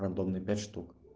рандомные пять шутк